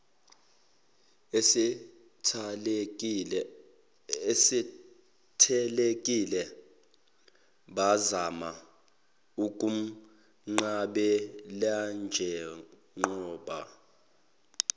esethelekile bazama ukumnqabelanjengoba